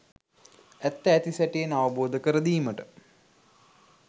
ඇත්ත ඇති සැටියෙන් අවබෝධකර දීමට